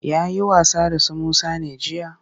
Ya yi wasa da su Musa ne jiya?